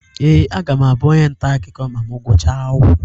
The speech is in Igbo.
Ee, aga m abụ onye nta akụkọ ma m gụchaa akwụkwọ.